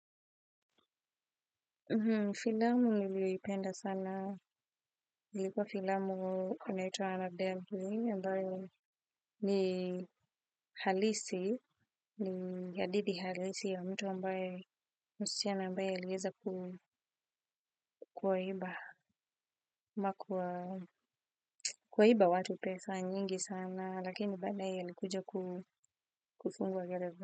Filamu niliyoipenda sana ilikuwa filamu inaitwa annabel ni halisi ni hadithi halisi ya mtu ambaye msichana ambaye aliweza kuwaiba ama kuwa kuwaiba watu pesa nyingi sana lakini baadaye alikuja kufungwa gereza.